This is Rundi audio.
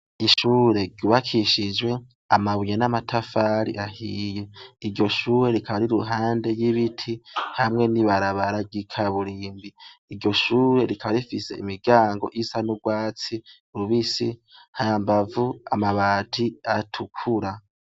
Ishure ryubakishij' amabuye n ' amatafar'ahiye, iryo shure rikaba rir' iruhande y' ibiti hamwe n' ibarabara ryikaburimbi, iryo shure rikaba rifis' imiryang' isa n' urwatsi rubisi hambav' amabati atukura.